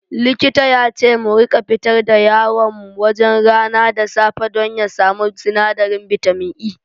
Likita yace mu rika fitar da yaron mu wajen rana da safe don ya samu sinadarin bitamin E.